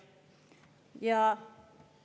Jah.